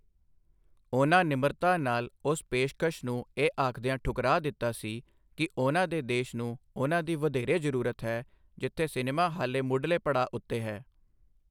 ਉਨ੍ਹਾਂ ਨਿਮਰਤਾ ਨਾਲ ਉਸ ਪੇਸ਼ਕਸ਼ ਨੂੰ ਇਹ ਆਖਦਿਆਂ ਠੁਕਰਾ ਦਿੱਤਾ ਸੀ ਕਿ ਉਨ੍ਹਾਂ ਦੇ ਦੇਸ਼ ਨੂੰ ਉਨ੍ਹਾਂ ਦੀ ਵਧੇਰੇ ਜ਼ਰੂਰਤ ਹੈ, ਜਿੱਥੇ ਸਿਨੇਮਾ ਹਾਲੇ ਮੁਢਲੇ ਪੜਾਅ ਉੱਤੇ ਹੈ।